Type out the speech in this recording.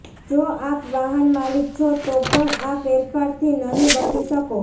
જો આપ વાહન માલિક છો તો પણ આ ફેરફારથી નહીં બચી શકો